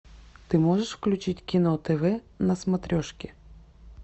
ты можешь включить кино тв на смотрешке